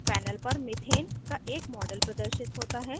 panel पर methane का एक model प्रदर्शित होता है